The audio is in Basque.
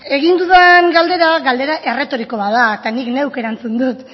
egin dudan galdera galdera erretoriko bat da eta nik neuk erantzun dut